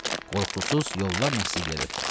Qorxusuz yollarla sizi geri ötürər.